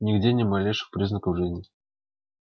нигде ни малейших признаков жизни